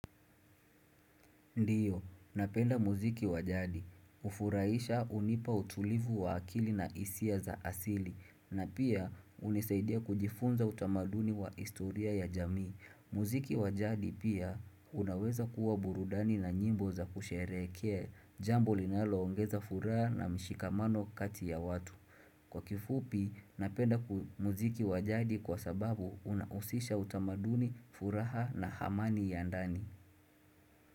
Ndio, napenda muziki wa jadi, ufurahisha unipa utulivu wa akili na hisia za asili, na pia unisaidia kujifunza utamaduni wa historia ya jamii. Muziki wajadi pia unaweza kuwa burudani na nyimbo za kusherehekea, jambo linaloongeza furaha na mshikamano kati ya watu. Kwa kifupi, napenda muziki wa jadi kwa sababu unahusisha utamaduni, furaha na hamani ya ndani.